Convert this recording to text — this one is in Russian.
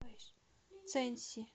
цэньси